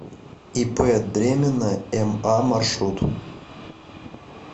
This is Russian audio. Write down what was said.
ип дремина ма маршрут